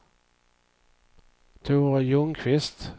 Tore Ljungqvist